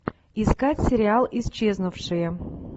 искать сериал исчезнувшие